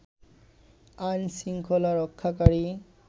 আইন শৃংখলা রক্ষাকারী